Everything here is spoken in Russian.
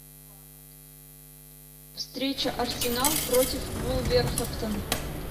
встреча арсенал против вулверхэмптон